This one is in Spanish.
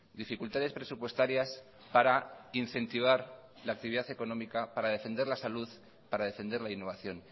dificultades presupuestarias para incentivar la actividad económica para defender la salud para defender la innovación